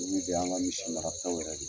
Don bɛɛ y'an ka misi marataw yɛrɛ de ye.